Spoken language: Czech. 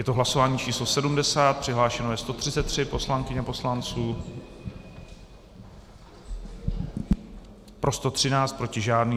Je to hlasování číslo 70, přihlášeno je 133 poslankyň a poslanců, pro 113, proti žádný.